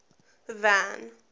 van